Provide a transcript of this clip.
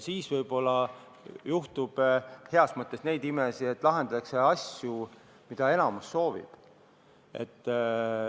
Siis võib-olla juhtub heas mõttes imesid, et lahendatakse asju, mida enamus soovib lahendada.